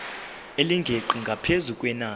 elingeqi ngaphezu kwenani